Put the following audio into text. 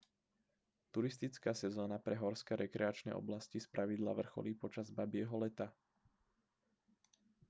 turistická sezóna pre horské rekreačné oblasti spravidla vrcholí počas babieho leta